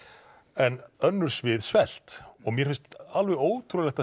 en önnur svið svelt og mér finnst alveg ótrúlegt